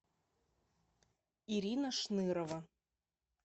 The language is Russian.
ирина шнырова